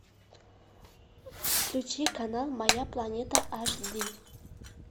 включи канал моя планета аш ди